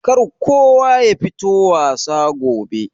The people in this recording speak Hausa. Kar kowa yafito wasa gobe.